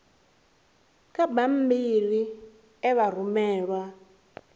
kha bammbiri e vha rumelwa